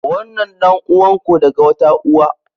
Wannan ɗan'uwan ku daga wata uwa.